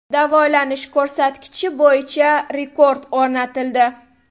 Davolanish ko‘rsatkichi bo‘yicha rekord o‘rnatildi.